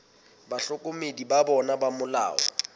bahlokomedi ba bona ba molao